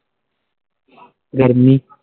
ਗਰਮੀ